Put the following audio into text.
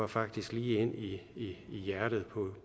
faktisk lige ind i hjertet